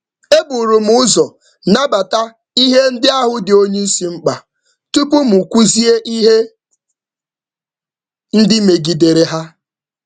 M gbachiri nkịtị ruo mgbe oga rịọrọ nzaghachi site um n’aka otu.